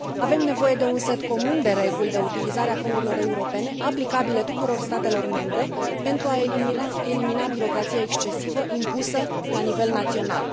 Avem nevoie de un set comun de reguli de utilizare a fondurilor europene aplicabile tuturor statelor membre pentru a elimina birocrația excesivă impusă la nivel național.